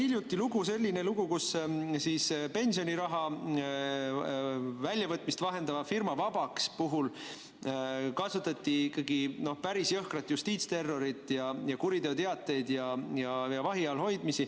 Hiljuti oli siin selline lugu, et pensioniraha väljavõtmist vahendava firma, OÜ Vabaks puhul kasutati päris jõhkrat justiitsterrorit, kuriteoteateid ja vahi all hoidmist.